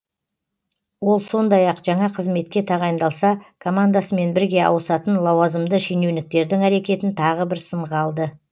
ол сондай ақ жаңа қызметке тағайындалса командасымен бірге ауысатын лауазымды шенеуніктердің әрекетін тағы бір сынға алды